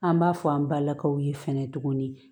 An b'a fɔ an balakaw ye fɛnɛ tuguni